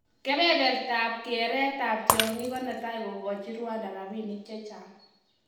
kebebertab kereet ab tyong'ik ko netai kokachii Rwanda rabinik chechang.